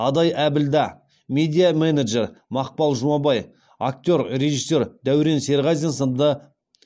адай әбілда медиа менеджер мақпал жұмабай актер режиссер дәурен серғазин сынды